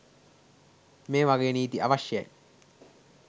මේ වගේ නීති අවශ්‍යයි.